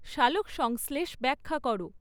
সালোকসংশ্লেষ ব্যাখ্যা করো